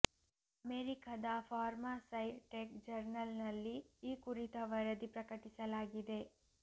ಅಮೆರಿಕದ pharma sci tech ಜರ್ನಲ್ನಲ್ಲಿ ಈ ಕುರಿತ ವರದಿ ಪ್ರಕಟಿಸಲಾಗಿದೆ